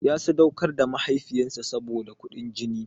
Ya sadaukar da mahaifinsa saboda kuɗin jin.